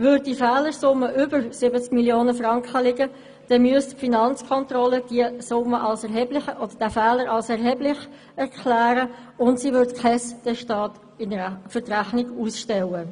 Würde diese Fehlersumme über 70 Mio. Franken betragen, müsste die Finanzkontrolle diesen Fehler für «erheblich» erklären, und sie würde kein Testat für die Rechnung ausstellen.